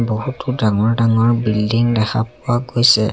বহুতো ডাঙৰ ডাঙৰ বিল্ডিং দেখা পোৱা গৈছে।